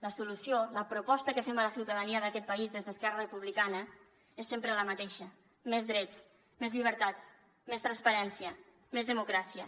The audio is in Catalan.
la solució la proposta que fem a la ciutadania d’aquest país des d’esquerra republicana és sempre la mateixa més drets més llibertats més transparència més democràcia